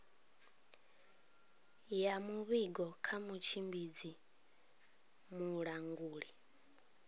ya muvhigo kha mutshimbidzi mulanguli